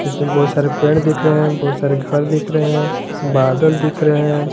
इसमें बहुत सारे पेड़ दिख रहे हैं बहुत सारे घर दिख रहे हैं बादल दिख रहे हैं।